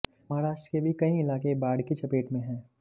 महाराष्ट्र के भी कई इलाके बाढ़ की चपेट में हैं